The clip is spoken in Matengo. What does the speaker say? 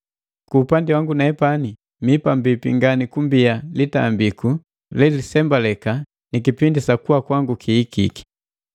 Ku upandi wangu nepani, mii pambipi ngani kumbia litambiku lelisembaleka ni kipindi sa kuwa kwangu kihikike.